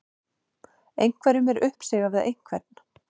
Einhverjum er uppsigað við einhvern